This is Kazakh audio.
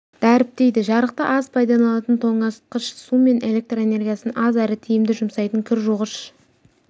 дәріптейді жарықты аз пайдаланатын тоңазытшық су мен электр энергиясын аз әрі тиімді жұмсайтын кір жуғыш